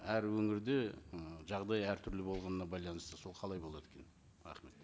әр өңірде ы жағдай әртүрлі болғанына байланысты сол қалай болады екен рахмет